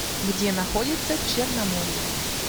где находится черноморье